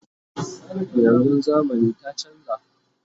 yanzun zamani ta chanza